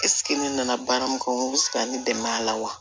ne nana baara min kɔnɔ u bɛ se ka ne dɛmɛ a la wa